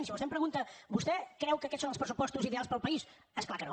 si vostè em pregunta vostè creu que aquests són els pressupostos ideals per al país és clar que no